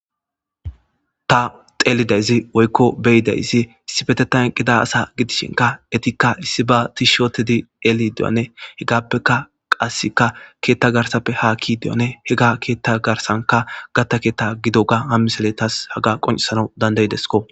Ta xeelidayzi woykko beyidaysi issibete tanqida asa gidishinka etikka issi ba tishotedi eli dewane hegappeka qasseka keetta garsappe haakki deyane hega keetta garsanka gatta keetta gido ga hammisele tas haga qoncisana dandayidesko.